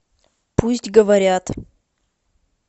пусть говорят